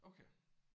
Okay